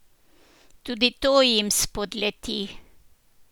Tudi to jim spodleti.